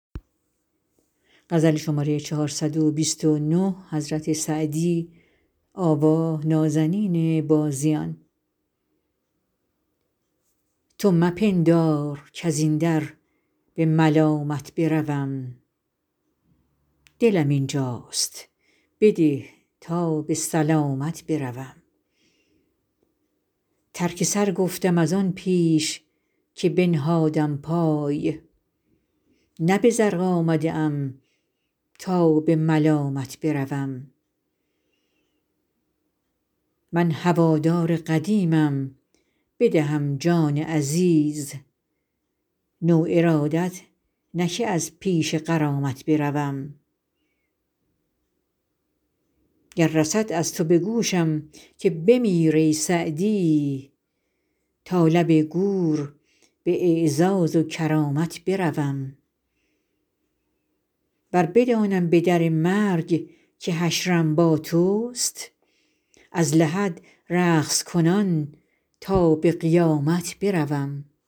تو مپندار کز این در به ملامت بروم دلم اینجاست بده تا به سلامت بروم ترک سر گفتم از آن پیش که بنهادم پای نه به زرق آمده ام تا به ملامت بروم من هوادار قدیمم بدهم جان عزیز نو ارادت نه که از پیش غرامت بروم گر رسد از تو به گوشم که بمیر ای سعدی تا لب گور به اعزاز و کرامت بروم ور بدانم به در مرگ که حشرم با توست از لحد رقص کنان تا به قیامت بروم